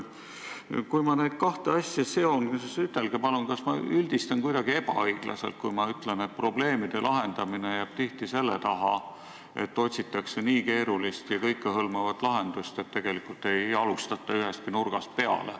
Ütelge palun, kas ma üldistan kuidagi ebaõiglaselt, kui ma ütlen, et probleemide lahendamine jääb tihti selle taha, et otsitakse keerulist ja kõikehõlmavat lahendust, aga tegelikult ei alustata ühestki nurgast.